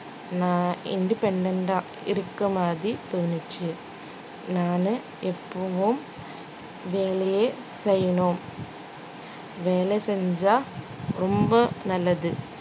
நான் independent ஆ இருக்க மாதிரி தோணுச்சு நானு எப்பவும் வேலையே செய்யணும் வேலை செஞ்சா ரொம்ப நல்லது